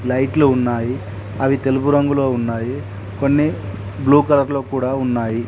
లైట్లు ఉన్నాయి అవి తెలుపు రంగులో ఉన్నాయి కొన్ని బ్లూ కలర్ లో కూడా ఉన్నాయి.